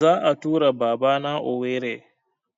Za a tura Baba na Owerri